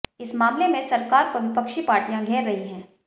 इस मामले में सरकार को विपक्षी पार्टियां घेर रहीं है